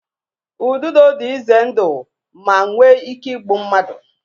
Ududo dị ize ndụ ma nwee ike igbu mmadụ